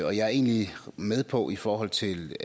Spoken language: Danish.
og jeg er egentlig med på i forhold til